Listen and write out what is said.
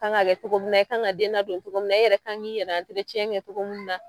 Kan ga kɛ togo min na, i kan ka den ladon togo min na, e yɛrɛ ka kan k'i yɛlɛ kɛ togo min na